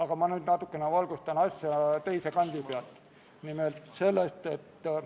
Kas Riigikogu liikmetel on soovi pidada läbirääkimisi?